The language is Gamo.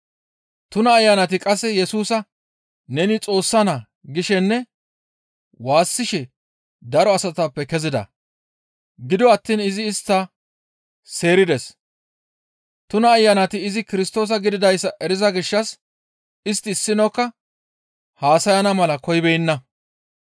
Tuna ayanati qasseka Yesusa, «Neni Xoossa naa» gishenne waassishe daro asatappe kezida; gido attiin izi istta seerides; tuna ayanati izi Kirstoosa gididayssa eriza gishshas istti issinokka haasayana mala koyibeenna.